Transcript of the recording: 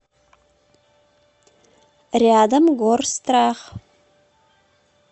рядом горстрах